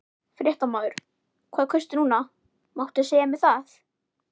Fréttamaður: Hvað kaustu núna, máttu segja mér það?